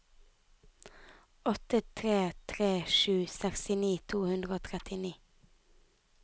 åtte tre tre sju sekstini to hundre og trettini